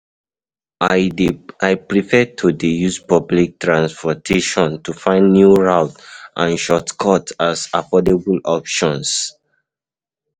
I prefer to dey use public transportation to find new routes and shortcuts as affordable option.